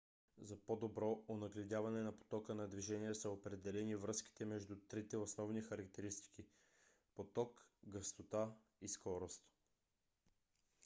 за по-добро онагледяване на потока на движение са определени връзките между трите основни характеристики: 1 поток 2 гъстота и 3 скорост